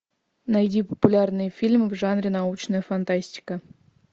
найди популярные фильмы в жанре научная фантастика